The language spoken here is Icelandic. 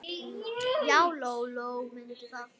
Já, Lóa-Lóa mundi það.